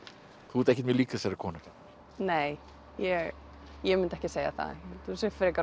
þú ert ekkert mjög lík þessari konu nei ég ég mundi ekki segja það held hún sé frekar